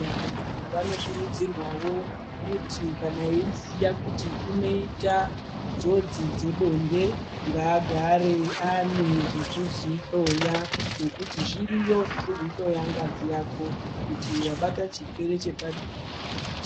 Vantu vanokurudzirwawo kuti kana eiziya kuti unoita njodzi dzebonde, ngaagare ane zvekudzihloya, nekuti zviriyo zvekudzihloya ngazi yako, kuti wabatwa chirwere